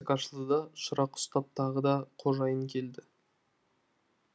есік ашылды да шырақ ұстап тағы да қожайын келді